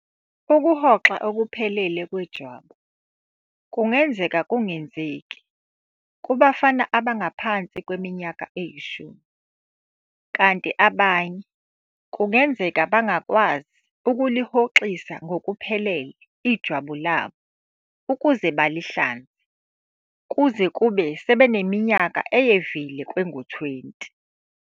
Ukuhoxa okuphelele kwejwabu kungenzeka kungenzeki kubafana abangaphansi kweminyaka eyishumi kanti abanye kungenzeka bangakwazi ukulihoxisa ngokuphelele ijwabu labo ukuze balihlanze kuze kube sebeneminyaka eyevile kwengu-20.